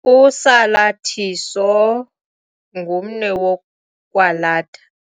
Usalathiso ngumnwe wokwalatha.